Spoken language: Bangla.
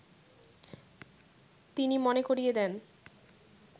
তিনি মনে করিয়ে দেন